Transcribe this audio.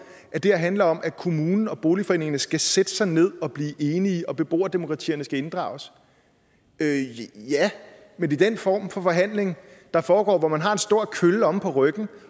at det her handler om at kommunen og boligforeningerne skal sætte sig ned og blive enige og at beboerdemokratierne skal inddrages ja men i den form for forhandling der foregår hvor man har en stor kølle omme på ryggen